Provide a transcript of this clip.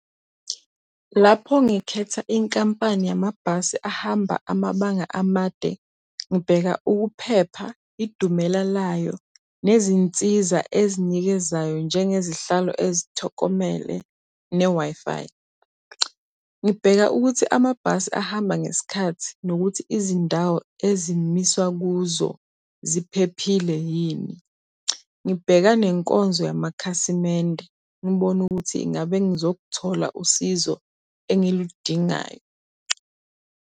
Lapho ngikhetha inkampani yamabhasi ahamba amabanga amade, ngibheka ukuphepha, idumela layo, nezinsiza ezinikezayo njengezihlalo ezithokomele ne-Wi-Fi. Ngibheka ukuthi amabhasi ahamba ngesikhathi nokuthi izindawo ezimiswa kuzo ziphephile yini. Ngibheka nenkonzo yamakhasimende ngibone ukuthi ngabe ngizokuthola usizo engiludingayo.